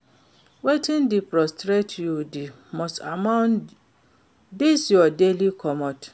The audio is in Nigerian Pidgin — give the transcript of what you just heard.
Wetin dey frustrate you di most about dis your daily commute?